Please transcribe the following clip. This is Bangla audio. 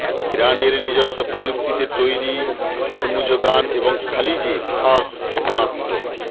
ইরানের নিজস্ব প্রযুক্তিতে তৈরি হরমুজগান এবং খালিজে ফার্স ক্ষেেপণাস্ত্র